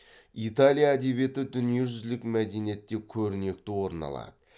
италия әдебиеті дүниежүзілік мәдениетте көрнекті орын алады